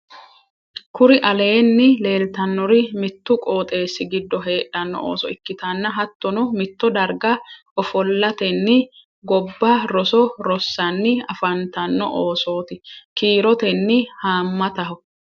kuri aleenni leelitannori mittu qooxessi giddo heedhanno ooso ikkitanna hattonno mitto darga ofolatenni gobba roso rossanni afantanno oosoti. kiirotenni haamataho.